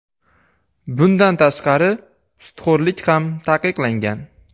Bundan tashqari, sudxo‘rlik ham taqiqlangan.